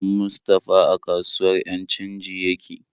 Mustapha a kasuwar 'yan canji yake aiki.